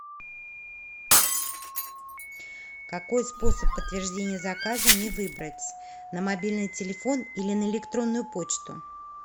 какой способ подтверждения заказа мне выбрать на мобильный телефон или на электронную почту